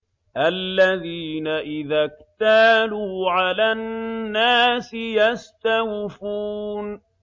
الَّذِينَ إِذَا اكْتَالُوا عَلَى النَّاسِ يَسْتَوْفُونَ